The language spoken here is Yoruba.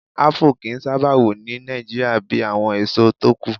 Ápù kì í sábà wù ní Nigeria bíi àwọn èso tókù